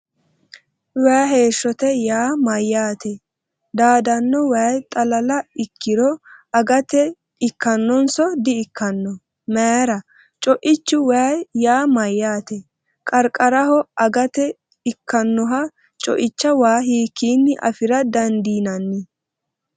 “Way Heeshshote” yaa mayyaate? Daadanno way xalala ikkiro agate ikkannonso/di”ikkanno? Mayra? Co’ichu way yaa mayyaate? Qarqaraho agate ikkannoha co’icha waa hiikkinni afi’ra dandiinanni?